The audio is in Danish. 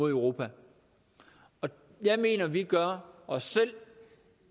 europa jeg mener at vi gør os selv